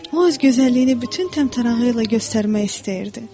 O öz gözəlliyini bütün təmtərağı ilə göstərmək istəyirdi.